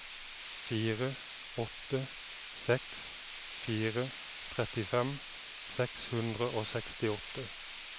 fire åtte seks fire trettifem seks hundre og sekstiåtte